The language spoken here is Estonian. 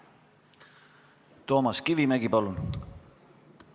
Toomas Kivimägi, palun!